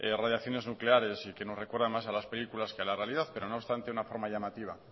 radiaciones nucleares y que nos recuerdan más a las películas que a la realidad pero no obstante una forma llamativa